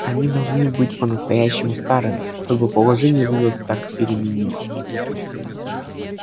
они должны быть по-настоящему старыми чтобы положение звёзд так переменилось